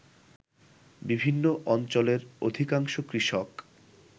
বিভিন্ন অঞ্চলের অধিকাংশ কৃষক